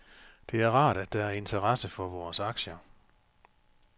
Det er rart, at der er interesse for vores aktier.